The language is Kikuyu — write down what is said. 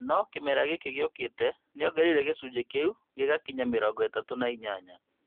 No kĩmera gĩkĩ gĩũkĩte nĩongereire gĩcunjĩ kĩu gĩgakinyĩria mĩrongo ĩtatũ na inyanya